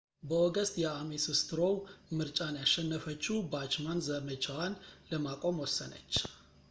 በኦገስት የአሜስ ስትሮው ምርጫን ያሸነፈችው ባችማን ዘመቻዋን ለማቆም ወሰነች